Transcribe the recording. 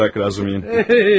Zarafatı burax, Razumihin.